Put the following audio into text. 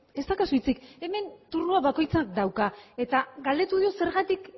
ez daukazu hitzik hemen turnoa bakoitzak dauka eta galdetu dio zergatik